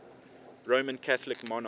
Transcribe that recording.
roman catholic monarchs